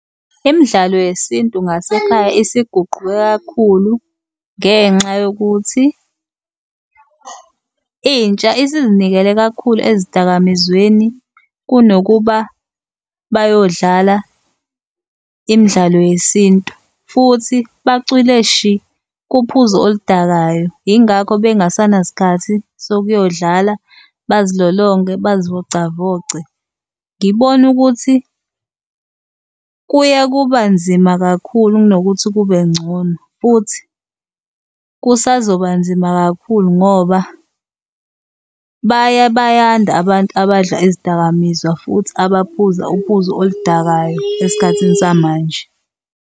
Imdlalo yesintu ngasekhaya isiguquke kakhulu ngenxa yokuthi intsha isizinikele kakhulu ezidakamizweni kunokuba bayodlala imidlalo yesintu futhi bacwile shi kuphuzo oludakayo, yingakho bengesanasa sikhathi sokuyodlala, bazilolonge, bazivocavoce. Ngibona ukuthi kuya kuba nzima kakhulu kunokuthi kube ngcono. Futhi kusazoba nzima kakhulu ngoba baya bayanda abantu abadla izidakamizwa, futhi abaphuza uphuzo oludakayo esikhathini samanje.